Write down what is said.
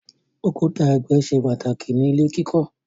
Òkúta ẹgbẹ ṣe pàtàkì ní ilè kí kò.